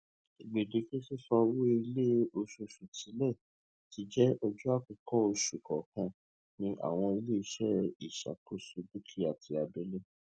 gbèdéke sísan owó ilé oṣooṣù tilẹ ti jẹ ọjọ àkọkọ oṣù kọọkan ní àwọn iléeṣẹ ìṣàkóso dúkìá ti abẹlé